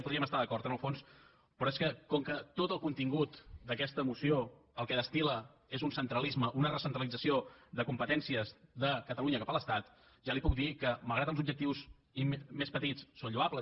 hi podríem estar d’acord en el fons però és que com que tot el contingut d’aquesta moció el que destil·la és un centralisme una recentralització de competències de catalunya cap a l’estat ja li puc dir que malgrat que els objectius més petits són lloables